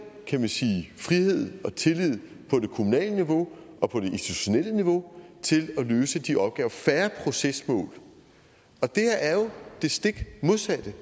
frihed og tillid på det kommunale niveau og på det institutionelle niveau til at løse de opgaver og færre procesmål og det her er jo det stik modsatte det